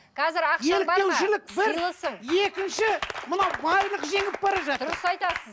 екінші мынау байлық жеңіп бара жатыр дұрыс айтасыз